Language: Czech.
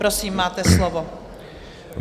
Prosím, máte slovo.